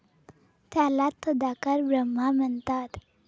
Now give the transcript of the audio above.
त्याला तदाकार ब्रह्मा म्हणतात.